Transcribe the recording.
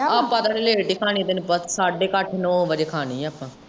ਆਪ ਥੋੜੀ ਲਾਟ ਹੀ ਕਹਾਣੀ ਆ ਤੈਨੂੰ ਪਤਾ ਸਾਡੇ ਕੁ ਅੱਠ ਨਾਉ ਵਜੇ ਕਹਾਣੀ ਆਪਾ।